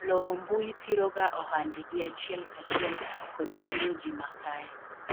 loro mbui thiro ga ohande gi achiel kachiel kod thiro ji ma kae